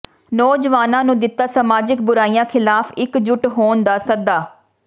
ਨੌਜਵਾਨਾਂ ਨੂੰ ਦਿੱਤਾ ਸਮਾਜਿਕ ਬੁਰਾਈਆਂ ਖਿਲਾਫ਼ ਇੱਕ ਜੁੱਟ ਹੋਣ ਦਾ ਸੱਦਾ